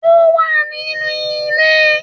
Ó wà nínú ilé